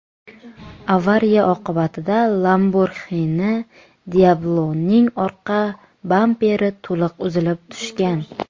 Avariya oqibatida Lamborghini Diablo‘ning orqa bamperi to‘liq uzilib tushgan.